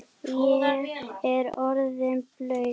Ég er orðinn blaut